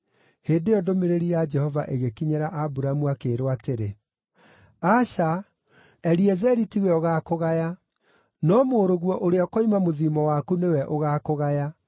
Hĩndĩ ĩyo ndũmĩrĩri ya Jehova ĩgĩkinyĩra Aburamu, akĩĩrwo atĩrĩ, “Aca, Eliezeri tiwe ũgaakũgaya, no mũrũguo ũrĩa ũkoima mũthiimo waku nĩwe ũgaakũgaya.”